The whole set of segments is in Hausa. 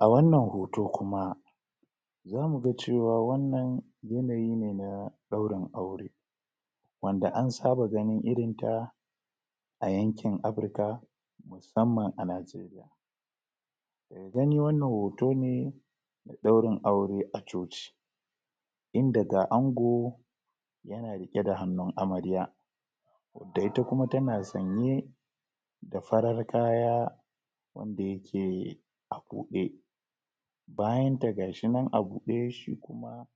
a wannan hoto kuma zamu ga cewa wannan yanayi ne na daurin aure wanda an saba ganin irinta a yankin afrika musamman a nijeriya eh dan ni wannan hoto ne daurin aure a coci inda ga ango yana rike da hannun amarya da ita kuma tana sanye da farar kaya wanda yake a bude bayanta gashinan a bude shi kuma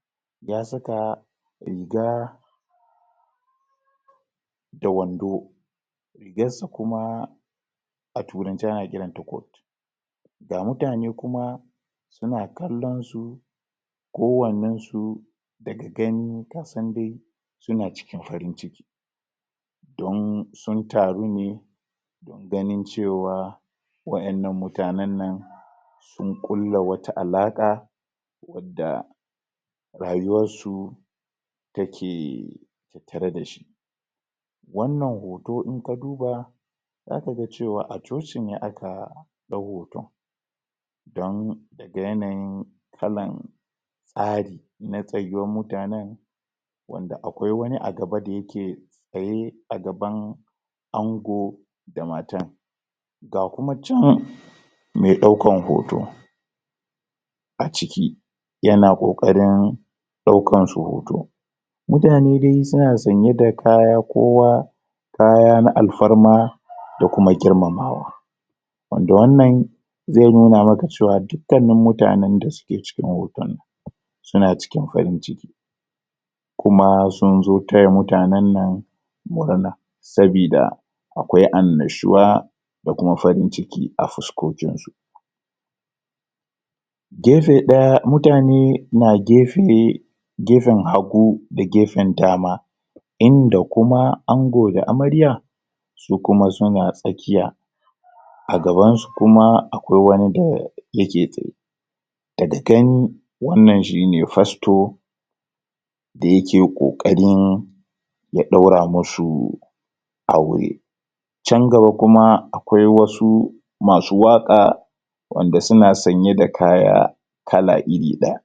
ya saka riga da wando rigarsa kuma a turance ana kiranta coat ga mutane kuma suna kallonsu kowannan su daga gani ta san dai suna cikin farin ciki don sun taru ne don ganin cewa waennan mutanan nan sun kulla wata alaka wadda rayuwarsu take tattare dashi wannan hoto in ka duba zaka ga cewa a coci ne aka dau hoton don ga yanayin kalan tsari na tsayuwar mutanen wanda akwai wani agaba da yake tsaye a gaban ango da matan ga kuma chan me daukan hoto a ciki yana kokarin daukansu hoto mutane dai suna sanye da kaya kowa kaya na alfarma da kuma girmamawa wanda wannan zai nuna maka cewa dukkannin mutanen da suke cikin hoton suna cikin farin ciki kuma sun zo taya mutanen nan murna sabida akwai annashuwa da kuma farin ciki a fuskokinsu gefe daya mutane na gefe gefen hagu da gefen dama inda kuma ango da amarya ke kuma suna tsakiya agabansu kuma akwai wani da yake tsaye daga gani wannan shine fasto da yake kokarin ya daura masu aure chan gaba kuma akwai wasu masu waka wanda suna sanye da kaya kala iri daya